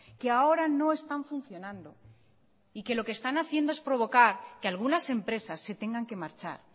que ahora no están funcionando y que lo que están haciendo es provocar que algunas empresas se tengan que marchar